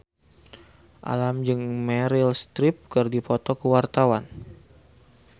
Alam jeung Meryl Streep keur dipoto ku wartawan